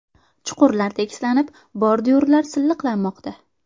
Chuqurlar tekislanib, bordyurlar silliqlanmoqda.